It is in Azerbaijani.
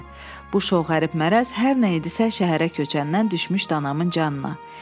Bu şov qərib mərəz hər nə idisə şəhərə köçəndən düşmüşdü anamın canına.